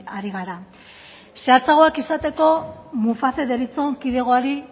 ari gara zehatzagoak izateko muface deritzon kidegoari